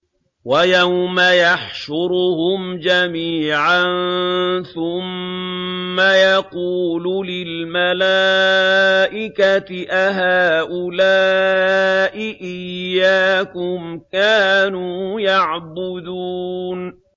وَيَوْمَ يَحْشُرُهُمْ جَمِيعًا ثُمَّ يَقُولُ لِلْمَلَائِكَةِ أَهَٰؤُلَاءِ إِيَّاكُمْ كَانُوا يَعْبُدُونَ